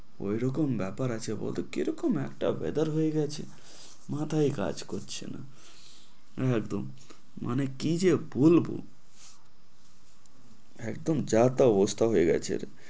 ওই রকম ব্যাপার আছে বলকি কে রকম একটা weather হয়ে গেছে, মাথাই কাজ করছে না। মানে কি যে বলব, একদম যা তা অবস্থা হয়ে গেছে।